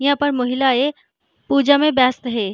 यहाँ पर महिलायें पूजा में व्यस्तहैं ।